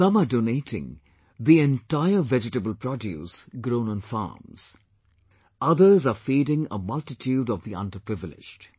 Some are donating vegetables grown on farms; others are feeding a multitude of the under privileged